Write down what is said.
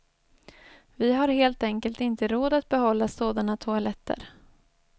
Vi har helt enkelt inte råd att behålla sådana toaletter.